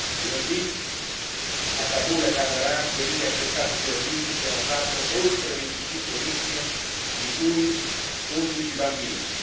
Lunedì a Kabul e a Kandahar due vili attentati terroristici hanno fatto oltre 25 vittime, di cui 11 bambini.